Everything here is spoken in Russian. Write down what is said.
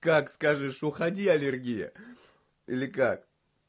как скажешь уходи аллергия или как